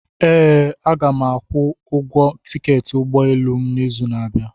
Ee, Aga m akwụ ụgwọ tiketi ụgbọ elu m n'izu na-abịa.